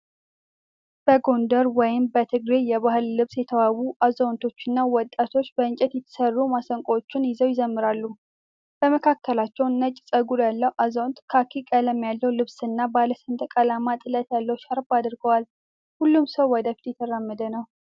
በጎንደር ወይም በትግሬ የባህል ልብስ የተዋቡ አዛውንቶችና ወጣቶች በእንጨት የተሠሩ ማሲንቆዎችን ይዘው ይዘምራሉ። በመካከላቸው ነጭ ፀጉር ያለው አዛውንት ካኪ ቀለም ያለው ልብስና ባለ ሰንደቅ ዓላማ ጥለት ያለው ሻርፕ አድርገዋል። ሁሉም ሰው ወደፊት እየተራመደ ነው።